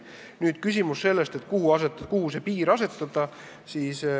Nüüd küsimus sellest, kuhu see piir asetada.